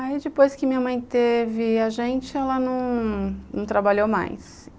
Aí, depois que minha mãe teve a gente, ela não não trabalhou mais.